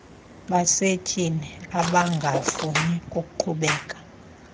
basetyhini abangafuni kuqhubekeka